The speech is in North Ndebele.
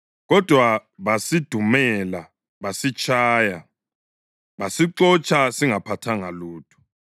Kodwa basidumela basitshaya basixotsha singaphathanga lutho.